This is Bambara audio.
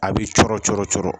A b'i cɔɔrɔ coɔrɔ cɔɔrɔ